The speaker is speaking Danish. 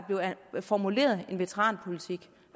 blev formuleret en veteranpolitik